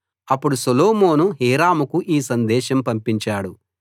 అప్పుడు సొలొమోను హీరాముకు ఈ సందేశం పంపించాడు